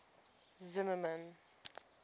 zimmermann